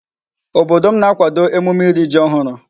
Obodo m na-akwado emume iri Ji ohuru